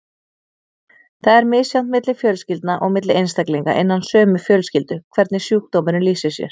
Það er misjafnt milli fjölskylda og milli einstaklinga innan sömu fjölskyldu hvernig sjúkdómurinn lýsir sér.